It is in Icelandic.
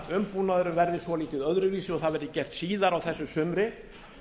málaumbúnaðurinn verði svolítið öðruvísi og það verði gert síðar á þessu sumri